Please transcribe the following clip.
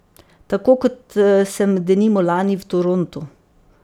Tako kot sem denimo lani v Torontu.